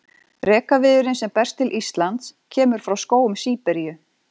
Rekaviðurinn sem berst til Íslands kemur frá skógum Síberíu.